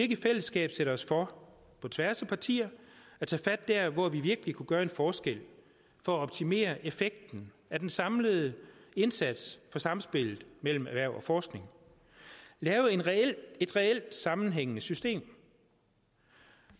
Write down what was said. i fællesskab sætte os for på tværs af partier at tage fat der hvor vi virkelig kunne gøre en forskel for at optimere effekten af den samlede indsats for samspillet mellem erhverv og forskning lave et reelt sammenhængende system